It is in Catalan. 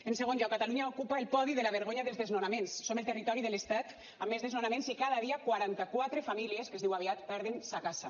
en segon lloc catalunya ocupa el podi de la vergonya dels desnonaments som el territori de l’estat amb més desnonaments i cada dia quaranta quatre famílies que es diu aviat perden sa casa